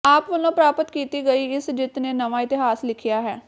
ਆਪ ਵੱਲੋਂ ਪ੍ਰਾਪਤ ਕੀਤੀ ਗਈ ਇਸ ਜਿੱਤ ਨੇ ਨਵਾਂ ਇਤਿਹਾਸ ਲਿਖਿਆ ਹੈ